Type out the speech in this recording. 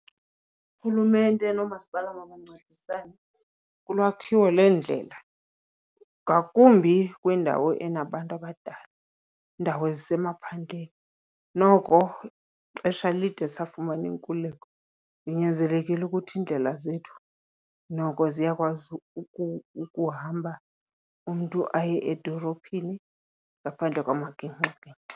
Urhulumente noomasipala mabancedisane kulwakhiwo leendlela, ngakumbi kwindawo enabantu abadala, iindawo ezisemaphandleni. Noko ixesha lide safumana inkululeko, inyanzelekile ukuthi iindlela zethu noko ziyakwazi ukuhamba umntu aye edolophini ngaphandle kwamagingxigingxi.